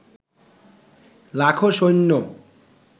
লাখো সৈন্য